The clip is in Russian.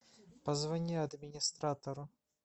позвони администратору